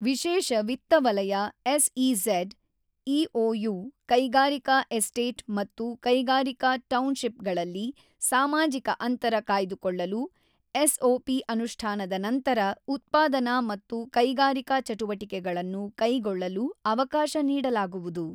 ವಿಶೇಷ ವಿತ್ತ ವಲಯ ಎಸ್ಇಝೆಡ್, ಇಒಯು, ಕೈಗಾರಿಕಾ ಎಸ್ಟೇಟ್ ಮತ್ತು ಕೈಗಾರಿಕಾ ಟೌನ್ ಶಿಪ್ ಗಳಲ್ಲಿ ಸಾಮಾಜಿಕ ಅಂತರ ಕಾಯ್ದುಕೊಳ್ಳಲು ಎಸ್ಒಪಿ ಅನುಷ್ಠಾನದ ನಂತರ ಉತ್ಪಾದನಾ ಮತ್ತು ಕೈಗಾರಿಕಾ ಚಟುವಟಿಕೆಗಳನ್ನು ಕೈಗೊಳ್ಳಲು ಅವಕಾಶ ನೀಡಲಾಗುವುದು.